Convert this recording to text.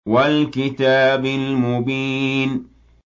وَالْكِتَابِ الْمُبِينِ